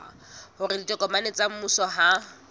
hore ditokomane tsa mmuso ha